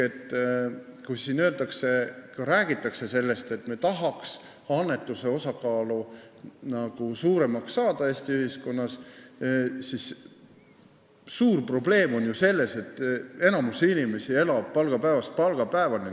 Ka siin räägitakse, et me tahaks Eesti ühiskonnas annetuse osakaalu suuremaks saada, aga suur probleem on ju see, et enamik inimesi elab palgapäevast palgapäevani.